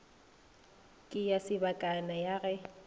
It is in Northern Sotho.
ke ya sebakana ya ge